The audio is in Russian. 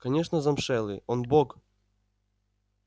конечно замшелый он бог